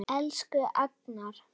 Elsku Agnar.